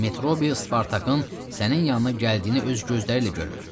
Metrobi Spartakın sənin yanına gəldiyini öz gözləriylə görüb.